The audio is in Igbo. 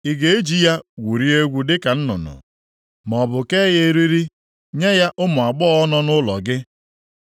Ị ga-eji ya gwurie egwu dịka nnụnụ? Maọbụ kee ya eriri nye ya ụmụ agbọghọ nọ nʼụlọ gị?